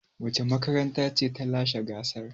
Wace makaranta ce ta lashe gasar?